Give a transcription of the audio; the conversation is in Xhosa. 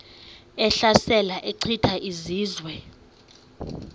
ehlasela echitha izizwe